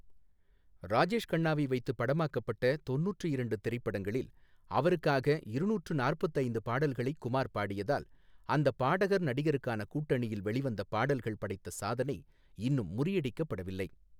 ராஜேஷ் கண்ணாவை வைத்துப் படமாக்கப்பட்ட தொண்ணூற்று இரண்டு திரைப்படங்களில் அவருக்காக இருநூற்று நாற்பத்து ஐந்து பாடல்களைக் குமார் பாடியதால் அந்த பாடகர் நடிகருக்கான கூட்டணியில் வெளிவந்த பாடல்கள் படைத்த சாதனை இன்னும் முறியடிக்கப்படவில்லை.